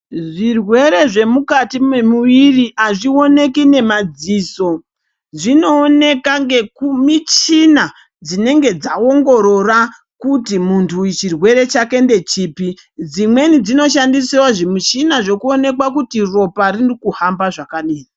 Zvirwere zvemukati mwemuviri azvioneki nemadziso zvinooneka ngemichina dzinenge dzaongorora kuti muntu uyu chirwere chake ndechipi dzimweni dzinoshandisewo zvimuchina zvekuonekwa kuti ropa ririkuhamba zvakadini.